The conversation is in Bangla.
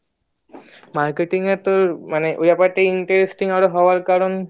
marketing এ তোর মানে ওই ব্যাপারটা interesting হওয়ার কারণ